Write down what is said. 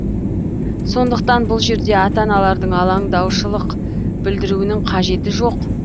сондықтан бұл жерде ата аналардың алаңдаушылық білдіруінің қажеті жоқ